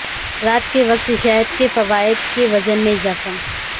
رات کے وقت شہد کے فوائد کے وزن میں اضافہ